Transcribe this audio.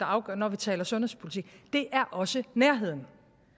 afgørende når vi taler sundhedspolitik det er også nærheden